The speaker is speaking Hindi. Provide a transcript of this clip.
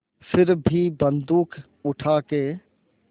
फिर भी बन्दूक उठाके